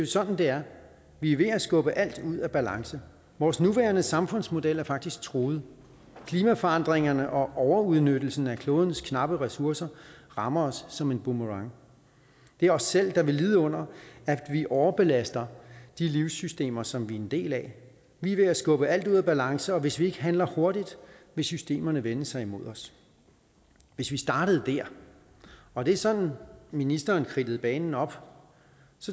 sådan det er vi er ved at skubbe alt ud af balance vores nuværende samfundsmodel er faktisk truet klimaforandringerne og overudnyttelsen af klodens knappe ressourcer rammer os som en boomerang det er os selv der vil lide under at vi overbelaster de livssystemer som vi er en del af vi er ved at skubbe alt ud af balance og hvis ikke vi handler hurtigt vil systemerne vende sig imod os hvis vi startede der og det er sådan ministerens kridtede banen op